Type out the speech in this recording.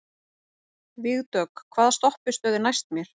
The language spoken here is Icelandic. Vígdögg, hvaða stoppistöð er næst mér?